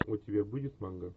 у тебя будет манга